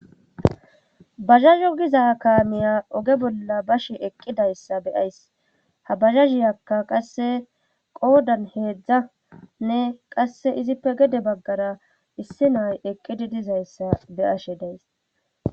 Bazazu giza kaamiya oge bolla bashi eqqidayssa beyays ha bazazhiyakka qasse qoodan heedzdza nne qasse izippe gede baggara issi nay eqqidi dizayssa be ashe days.